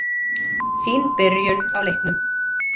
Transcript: Fín byrjun á leiknum.